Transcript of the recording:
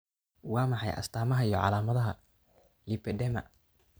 Waa maxay astamaha iyo calaamadaha lipedema?